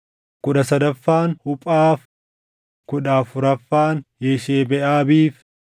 kudha sadaffaan Huphaaf, kudha afuraffaan Yeshebeʼaabiif,